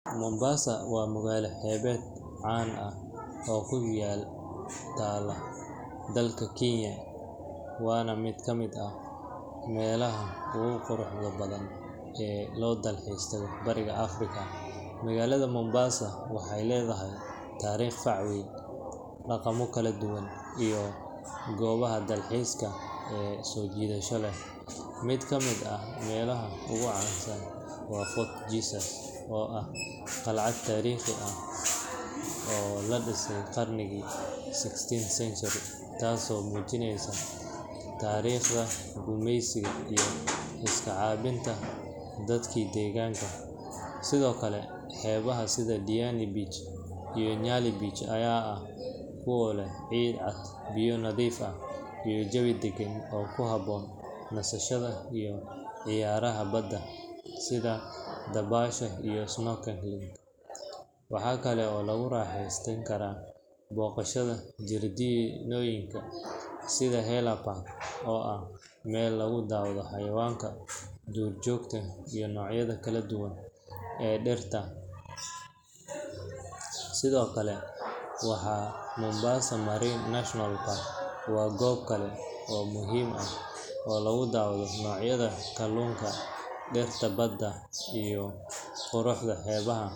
Mombasa waa magaalo xeebeed caan ah oo ku taalla dalka Kenya, waana mid ka mid ah meelaha ugu quruxda badan ee loo dalxiis tago Bariga Afrika. Magaalada Mombasa waxay leedahay taariikh fac weyn, dhaqamo kala duwan, iyo goobaha dalxiiska ee soo jiidashada leh. Mid ka mid ah meelaha ugu caansan waa Fort Jesus, oo ah qalcad taariikhi ah oo la dhisay qarnigii sixteenth century, taasoo muujinaysa taariikhda gumaysiga iyo iska caabinta dadkii deegaanka. Sidoo kale, xeebaha sida Diani Beach iyo Nyali Beach ayaa ah kuwo leh ciid cad, biyo nadiif ah, iyo jawi deggan oo ku habboon nasashada iyo ciyaaraha badda sida dabaasha iyo snorkeling. Waxaa kale oo lagu raaxaysan karaa booqashada jardiinooyin sida Haller Park, oo ah meel lagu daawado xayawaanka, duurjoogta, iyo noocyada kala duwan ee dhirta. Sidoo kale, Mombasa Marine National Park waa goob kale oo muhiim ah oo lagu daawado noocyada kaluunka, dhirta badda, iyo quruxda xeebaha.